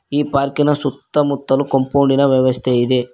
ಈ ಪಾರ್ಕಿನ ಸುತ್ತಮುತ್ತಲು ಕಾಂಪೌಂಡಿನ ವ್ಯವಸ್ಥೆ ಇದೆ.